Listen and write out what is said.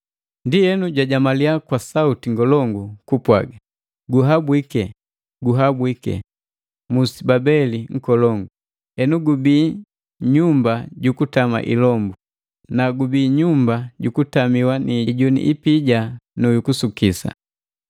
Ndi jwajamalia kwa sauti ngolongu kupwaga, “Guhabwike, guhabwike, Musi Babeli nkolongu! Henu gubii pandu puku tamiwa ni ilombu, pabii pandu pukutamiwa na loho iliya, na pandu pukutamiwa ni ijuni ipija nu yukusukisa.